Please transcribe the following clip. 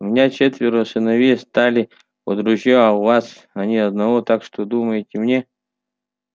у меня четверо сыновей стали под ружьё а у вас ни одного так что думаете мне